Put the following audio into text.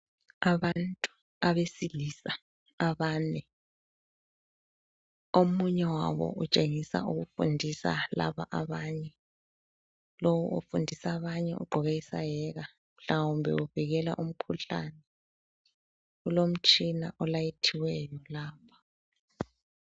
Abantu abesilisa abane, omunye wabo utshengisa ukufundisa laba abanye lowu ofundisa abanye ugqoke isaheka mhlawumbe uvikela umkhuhlane. Kulomtshina olayithiweyo lapha.